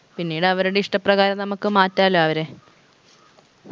പിന്നീട് അവരുടെ ഇഷ്ടപ്രകാരം നമുക്ക് മാറ്റാലൊ അവരെ